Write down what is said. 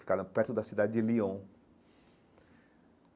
Ficaram perto da cidade de Lyon.